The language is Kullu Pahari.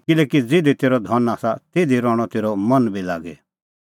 किल्हैकि ज़िधी तेरअ धन आसा तिधी रहणअ तेरअ मन बी लागी